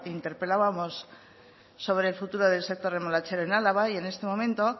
interpelábamos sobre el futuro del sector remolachero en álava y en este momento